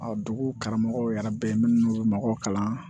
dugu karamɔgɔw yɛrɛ bɛ minnu kalan